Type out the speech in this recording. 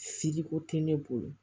Filiko tɛ ne bolo